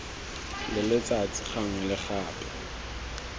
le letsatsi gangwe le gape